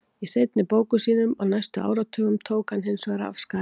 Í seinni bókum sínum á næstu áratugum tók hann hins vegar af skarið.